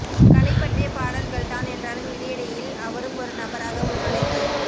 களைப் பற்றிய பாடல்கள்தான் என்றாலும் இடையிடையில் அவரும் ஒரு நபராக உள்நுழைந்து